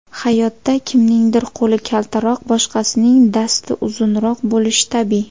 Hayotda kimningdir qo‘li kaltaroq, boshqasining dasti uzunroq bo‘lishi tabiiy.